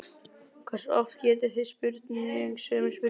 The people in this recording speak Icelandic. Hversu oft getið þið spurt mig sömu spurningarinnar?